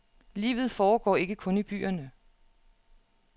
Livet foregår ikke kun i byerne.